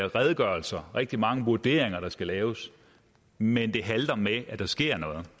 redegørelser og rigtig mange vurderinger der skal laves men det halter med at der sker noget